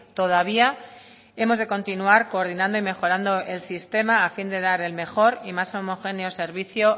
todavía hemos de continuar coordinando y mejorando el sistema a fin de dar el mejor y más homogéneo servicio